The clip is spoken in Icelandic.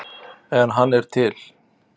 En hann er til.